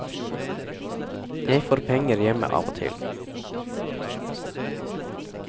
Jeg får penger hjemme av og til.